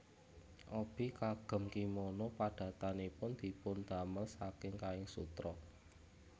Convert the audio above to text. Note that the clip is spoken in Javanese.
Obi kagem kimono padatanipun dipundamel saking kain sutra